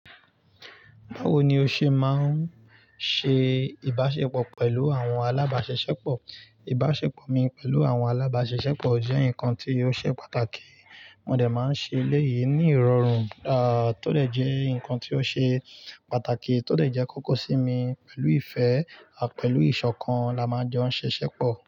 Báwo ni o ṣe máa ń ṣe ìbáṣepọ̀ pẹ̀lú àwọn alábáṣeṣẹ́pọ̀? Ìbáṣepọ̀ mi pẹ̀lú àwọn alábáṣeṣẹ́pọ̀ jẹ́ nǹkan tí ó ṣe pàtàkì, mo dà máa ń ṣe léyìí ní ìrọ̀rùn, à tó dẹ̀ jẹ́ nǹkan tí ó ṣe pàtàkì tó dẹ̀ jẹ́ kókó sí mi pẹ̀lú ìfẹ́ àpẹ̀lú ìṣọ̀kan la máa ń jẹ́ ó ń ṣe ṣẹ́pọ̀.